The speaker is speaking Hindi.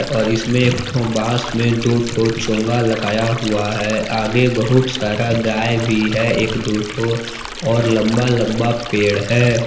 और इसमें एक ठो बाँस में दो ठो चोंगा लगाया हुआ है आगे बहुत सारा गाये भी है एक दो ठो और लंबा लंबा पेड़ है।